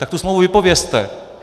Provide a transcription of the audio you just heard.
Tak tu smlouvu vypovězte.